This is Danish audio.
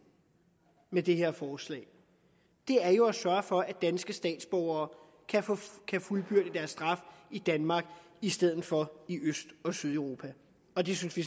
i det her forslag er jo at sørge for at danske statsborgere kan få fuldbyrdet deres straf i danmark i stedet for i øst og sydeuropa og det synes vi